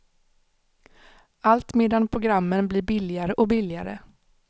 Allt medan programmen blir billigare och billigare.